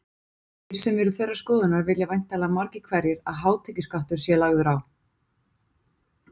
Þeir sem eru þeirrar skoðunar vilja væntanlega margir hverjir að hátekjuskattur sé lagður á.